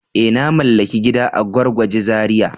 Eh! Na mallaki gida a Gwargwaje Zariya.